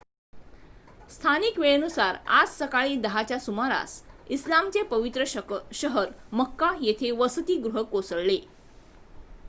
स्थानिक वेळेनुसार आज सकाळी 10 च्या सुमारास इस्लामचे पवित्र शहर मक्का येथे वसतिगृह कोसळले